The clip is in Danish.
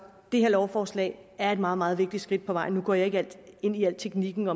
det her lovforslag er et meget meget vigtigt skridt på vejen nu går jeg ikke ind i al teknikken